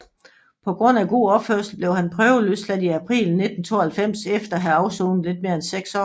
På grund af god opførsel blev han prøveløsladt i april 1992 efter at have afsonet lidt mere end seks år